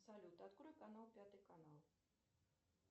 салют открой канал пятый канал